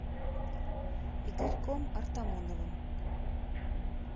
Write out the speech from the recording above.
игорьком артамоновым